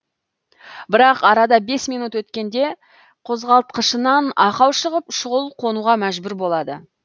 бірақ арада бес минут өткенде қозғалтқышынан ақау шығып шұғыл қонуға мәжбүр болады